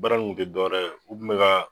Baara in kun tɛ dɔwɛrɛ ye u kun bɛ ka